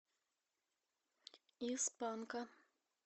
из панка